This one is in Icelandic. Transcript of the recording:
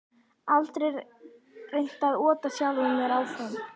Aldrei reynt að ota sjálfum mér áfram